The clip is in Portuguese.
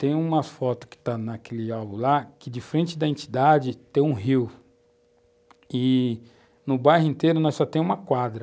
Tem umas fotos que estão naquele álbum lá, que de frente à entidade tem um rio, e no bairro inteiro nós só temos uma quadra.